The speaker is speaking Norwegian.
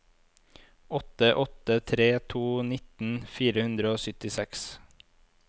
åtte åtte tre to nitten fire hundre og syttiseks